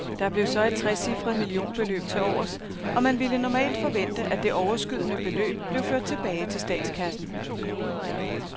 Der blev så et trecifret millionbeløb tilovers, og man ville normalt forvente, at det overskydende beløb blev ført tilbage til statskassen.